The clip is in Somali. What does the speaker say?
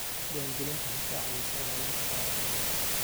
Diiwaangelintu waxay ka caawisaa ilaalinta taariikhda dhulka.